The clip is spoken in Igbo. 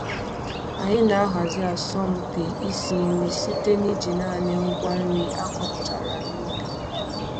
Anyị na-ahazi asọmpi isi nri site n'iji naanị ngwa nri a kọpụtara n'ubi